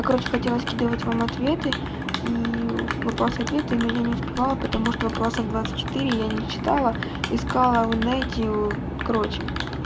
короче хотела скидывать вам ответы и вопросы ответы но я не успевала потому что вопросов двадцать четыре я не читала искала в инете короче